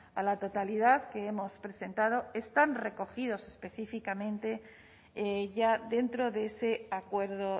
a la totalidad que hemos presentado están recogidos específicamente ya dentro de ese acuerdo